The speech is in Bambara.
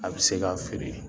A be se ka feere